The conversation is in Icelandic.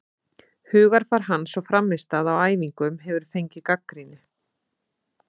Hugarfar hans og frammistaða á æfingum hefur fengið gagnrýni.